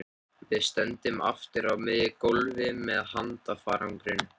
Við stöndum aftur á miðju gólfi með handfarangur.